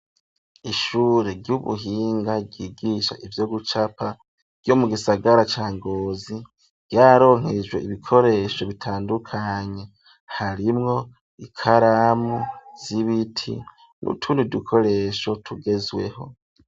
Ishure ry'ubuhinga, ryigisha ivyo gucapa, ryo mu gisagara ca Ngozi; ryararonkejwe ibikoresho, bitandukanye, harimwo ikaramu z'ibiti, n'utundi dukoresho, tugezweho.